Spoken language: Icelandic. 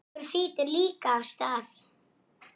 Örn. Hann sagði.